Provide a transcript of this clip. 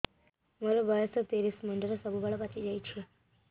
ମୋର ବୟସ ତିରିଶ ମୁଣ୍ଡରେ ସବୁ ବାଳ ପାଚିଯାଇଛି